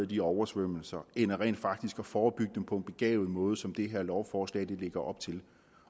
de oversvømmelser end rent faktisk at forebygge dem på en begavet måde som det her lovforslag lægger op til